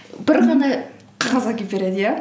бір ғана қағаз әкеп береді иә